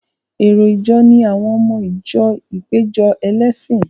Èrò ìjọ ni àwọn ọmọ ìjọ ìpéjọ ẹlẹ́sìn.